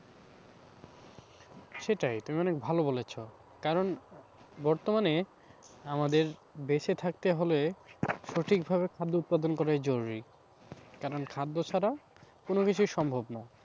সেটাই তুমি অনেক ভালো বলেছো, কারণ বর্তমানে আমাদের বেঁচে থাকতে হলে সঠিকভাবে খাদ্য উৎপাদন করাই জরুরি কারণ খাদ্য ছাড়াও কোনোকিছুই সম্ভব নয়।